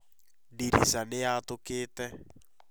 Ndirica nĩ yatokire